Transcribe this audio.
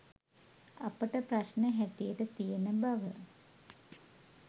අපට ප්‍රශ්න හැටියට තියෙන බව